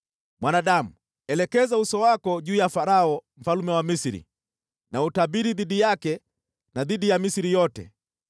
“Mwanadamu, elekeza uso wako juu ya Farao mfalme wa Misri na utabiri dhidi yake na dhidi ya Misri yote.